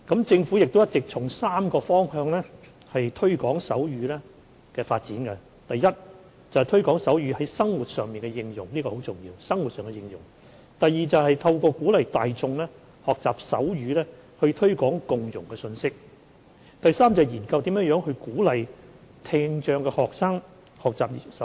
政府一直從3個方向推廣手語的發展，包括 ：a 推廣手語在生活上的應用，這很重要 ；b 透過鼓勵大眾學習手語以推廣共融的信息；及 c 研究如何鼓勵聽障學生學習手語。